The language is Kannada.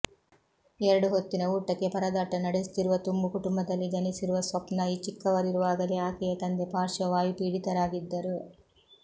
ಎರಡು ಹೊತ್ತಿನ ಊಟಕ್ಕೆ ಪರದಾಟ ನಡೆಸುತ್ತಿರುವ ತುಂಬು ಕುಟುಂಬದಲ್ಲಿ ಜನಿಸಿರುವ ಸ್ವಪ್ನಾ ಚಿಕ್ಕವರಿರುವಾಗಲೇ ಆಕೆಯ ತಂದೆ ಪಾರ್ಶ್ವವಾಯುಪೀಡಿತರಾಗಿದ್ದರು